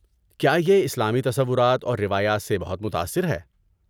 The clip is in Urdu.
کیا یہ اسلامی تصورات اور روایات سے بہت متاثر ہے؟